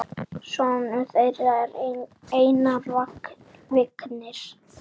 Sonur þeirra er Einar Vignir.